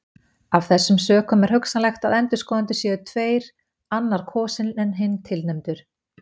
Af þessum sökum er hugsanlegt að endurskoðendur séu tveir annar kosinn en hinn tilnefndur.